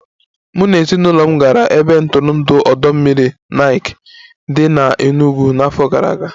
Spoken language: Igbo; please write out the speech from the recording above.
Mụ na ezinụlọ m gara ebe ntụrụndụ ọdọ mmiri Nike dị n'Enugu n'afọ gara aga